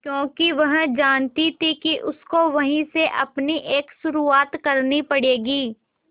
क्योंकि वह जानती थी कि उसको वहीं से अपनी एक शुरुआत करनी पड़ेगी